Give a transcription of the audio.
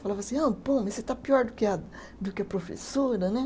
Falava assim, ah, pô, mas você está pior do que a, do que a professora, né?